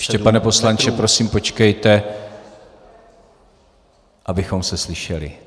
Ještě, pane poslanče, prosím počkejte... abychom se slyšeli.